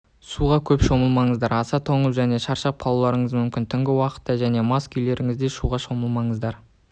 суға көп шомылмаңыздар аса тоңып және шаршап қалуларыңыз мүмкін түнгі уақытта және мас күйлеріңізде суға шомылмаңыздар